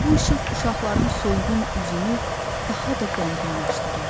Bu işıq uşaqların solğun üzünü daha da qəmginləşdirirdi.